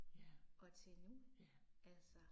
Ja. Ja